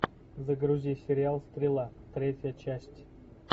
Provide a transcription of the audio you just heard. загрузи сериал стрела третья часть